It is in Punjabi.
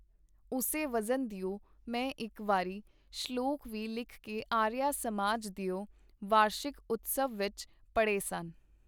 ਉਸੇ ਵਜ਼ਨ ਦਿਓ ਮੈਂ ਇਕ ਵਾਰੀ ਸ਼ਲੋਕ ਵੀ ਲਿਖ ਕੇ ਆਰੀਆ ਸਮਾਜ ਦਿਓ ਵਾਰਸ਼ਿਕ ਉਤਸਵ ਵਿਚ ਪੜ੍ਹੇ ਸਨ.